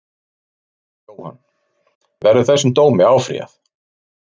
Jóhann: Verður þessum dómi áfrýjað?